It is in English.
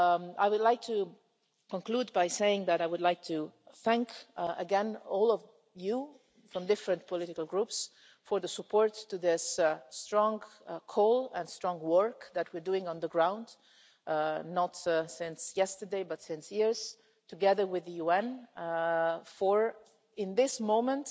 I would like to conclude by saying that I would like to thank again all of you from the different political groups for the support for this strong call and strong work that we're doing on the ground, not since yesterday but for years, together with the UN, for at this